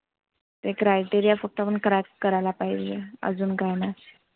एक criteria करायला पाहिजे आजु काय नाय.